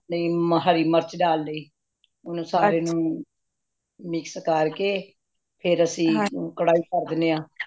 ਅਪਣੀ ਹਰਿਮਿਰਚ ਡਾਲ ਲਈ ਹੂਨ ਸਾਰੇ ਨੂੰ mix ਕਰਕੇ ਫਿਰ ਅੱਸੀ ਕਢਾਈ ਤਰਦੇਨੇ ਹਾਂ